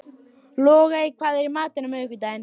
Logey, hvað er í matinn á miðvikudaginn?